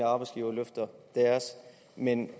arbejdsgivere løfter deres men